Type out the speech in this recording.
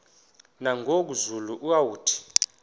nangoku zulu uauthi